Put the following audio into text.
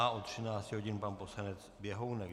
A od 13 hodin pan poslanec Běhounek.